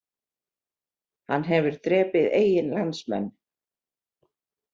Hann hefur drepið eigin landsmenn